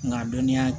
Nga dɔnniya